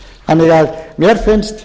þannig að mér finnst